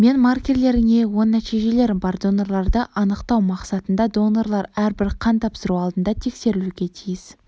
мен маркерлеріне оң нәтижелері бар донорларды анықтау мақсатында донорлар әрбір қан тапсыру алдында тексерілуге тиіс